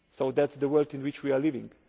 weeks. That is the world in which we are